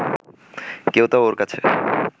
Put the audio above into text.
কেউ তা ওর কাছে